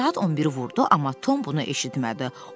Saat 11-i vurdu amma Tom bunu eşitmədi.